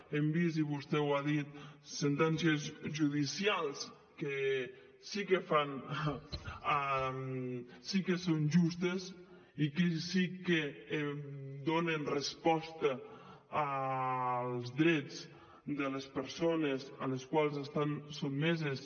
hem vist i vostè ho ha dit sentències judicials que sí que són justes i que sí que donen resposta als drets de les persones a les quals estan sotmeses